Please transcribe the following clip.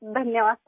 धन्यवाद सर